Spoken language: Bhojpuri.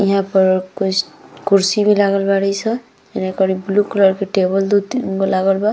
यहां पर कुछ कुर्सी भी लागल बाड़ी स इने कोई ब्लू कलर के टेबल दो तीन गो लागल बा।